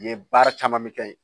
Nin ye baara caman bɛ kɛ yen